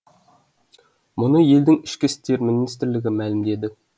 мұны елдің ішкі істер министрлігі мәлімдеді